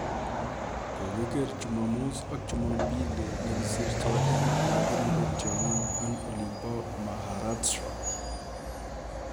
Kogiger jumamos ak jumapili nekisirto eng ole kiripee tiongik olimbo Maharashtra